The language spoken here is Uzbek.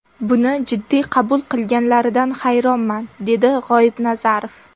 Buni jiddiy qabul qilganlaridan hayronman”, dedi G‘oibnazarov.